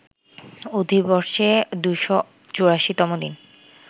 অধিবর্ষে ২৮৪ তম দিন